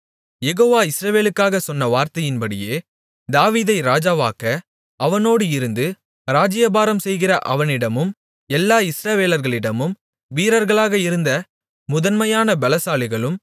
யெகோவா இஸ்ரவேலுக்காகச் சொன்ன வார்த்தையின்படியே தாவீதை ராஜாவாக்க அவனோடு இருந்து ராஜ்ஜியபாரம்செய்கிற அவனிடமும் எல்லா இஸ்ரவேலர்களிடமும் வீரர்களாக இருந்த முதன்மையான பெலசாலிகளும்